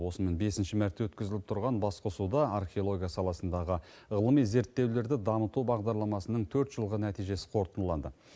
осымен бесінші мәрте өткізіліп тұрған басқосуда археология саласындағы ғылыми зерттеулерді дамыту бағдарламасының төрт жылғы нәтижесі қорытындыланды